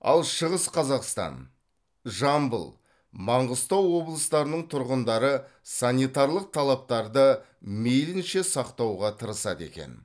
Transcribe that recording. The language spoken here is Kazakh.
ал шығыс қазақстан жамбыл маңғыстау облыстарының тұрғындары санитарлық талаптарды мейлінше сақтауға тырысады екен